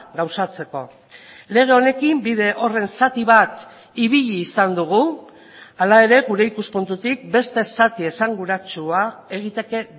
gauzatzeko lege honekin bide horren zati bat ibili izan dugu hala ere gure ikuspuntutik beste zati esanguratsua egiteke